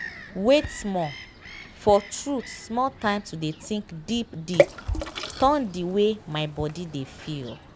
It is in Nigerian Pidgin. wait small– for truth small time to dey think deep deep turn di wey my body dey feel.